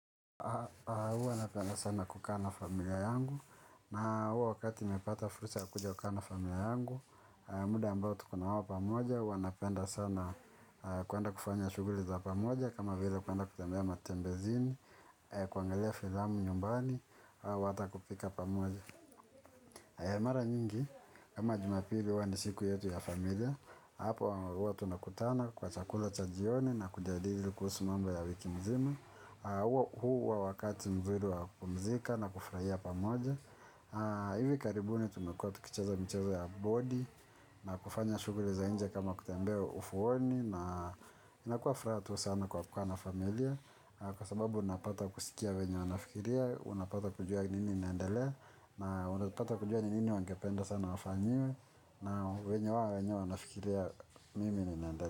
Huwa napenda sana kukaa na familia yangu na huwa wakati napata fursa ya kuja kukaa na familia yangu. Muda ambao tuko nawao pamoja hua napenda sana kuenda kufanya shughuli za pamoja, kama vile kuenda kutembea matembezini, kuangalia filamu nyumbani, au hata kupika pamoja. Mara nyingi, kama Jumapili huwa ni siku yetu ya familia. Hapo huwa tunakutana kwa chakula cha jioni na kujadili kuhusu mambo ya wiki mzima. Huwa wakati mzuri wa kupumzika na kufurahia pamoja. Hivi karibuni tumekua tukicheza micheza ya bodi na kufanya shughuli za nje kama kutembea ufuoni na inakua furaha tu sana kwa kukaa na familia kwa sababu unapata kusikia venye wanafikiria, unapata kujua nini inaendelea na unapata kujua ni nini wangependa sana wafanyiwe na venye wao wenyewe wanafikiria mimi ninaendelea.